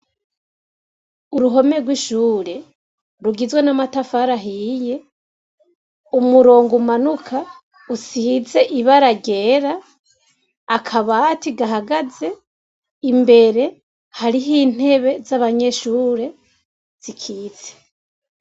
Uruhome rw'ishure rugizwe n'amatafari ahiye, umurongo umanuka usize ibara ryera, akabati gahagaze, imbere hariho intebe z'abanyeshure zikitse.